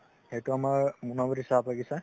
এইটো আমাৰ মুনাবাৰি চাহ বাগিছা